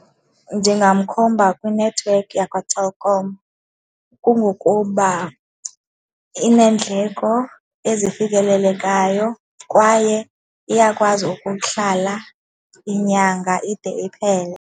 Ndingamkhomba kwinethiwekhi yakwaTelkom kungokuba ineendleko ezifikelelekayo kwaye iyakwazi ukuhlala inyanga ide iphele.